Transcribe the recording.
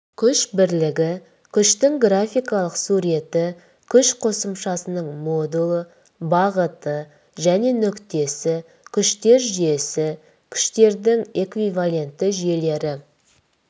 күш бірлігі күштің графикалық суреті күш қосымшасының модулі бағыты және нүктесі күштер жүйесі күштердің эквивалентті жүйелері